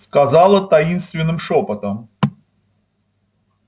сказала таинственным шёпотом